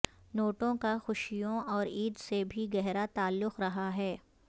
نوٹوں کا خوشیوں اور عید سے بھی گہرا تعلق رہا ہے